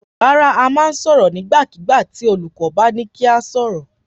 Rárá, a máa sọ̀rọ̀ nígbàkigbà tì olùkọ́ bá ní kí a sọ̀rọ̀.